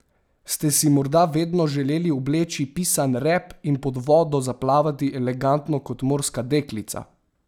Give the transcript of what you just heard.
Ste si morda vedno želeli obleči pisan rep in pod vodo zaplavati elegantno kot morska deklica?